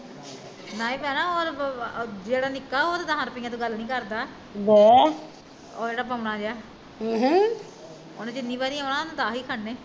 ਨਾ ਨੀ ਭੈਣਾਂ ਜਿਹੜਾ ਉਹ ਨਿੱਕਾ ਭਲਾ ਉਹ ਤਾਂ ਦੱਸ ਰੁੱਪਈਆ ਤੋਂ ਗੱਲ ਨੀ ਕਰਦਾ ਉਹ ਜਿਹੜਾ ਬੋਣਾ ਜਿਹਾ ਆਹ ਉਹਨੇ ਜਿੰਨੀ ਵਾਰੀ ਆਉਣਾ ਉਹਨੇ ਦੱਸ ਈ ਖੜਨੇ